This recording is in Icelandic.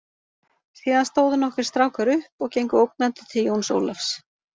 Síðan stóðu nokkrir strákar upp og gengu ógnandi til Jóns Ólafs.